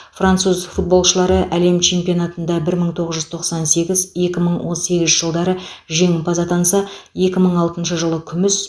француз футболшылары әлем чемпионатында бір мың тоғыз жүз тоқсан сегіз екі мың он сегізінші жылдары жеңімпаз атанса екі мың алтыншы жылы күміс